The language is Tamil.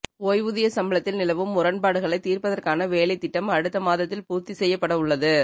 ஓய்வூதிய சம்பளத்தில் நிலவும் முரண்பாடுகளை தீர்ப்பதற்கான வேலைத் திட்டம் அடுத்த மாதத்தில் பூர்த்தி செய்யப்படவுள்ளது